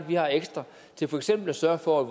vi har ekstra til for eksempel at sørge for at